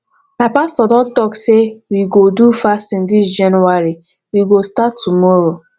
my pastor don talk sey we go do fasting dis january we go start tomorrow